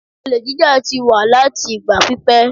Olè jíjá ti wà láti ìgbà pípẹ́.